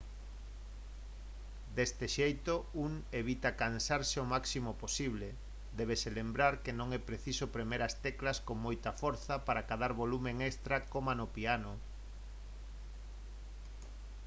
deste xeito un evita cansarse o máximo posible débese lembrar que non é preciso premer as teclas con moita forza para acadar volume extra coma no piano